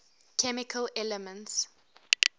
chemical elements